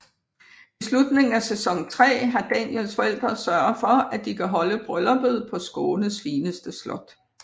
I slutningen af sæson 3 har Daniels forældre sørget for at de kan holde brylluppet på Skånes fineste slot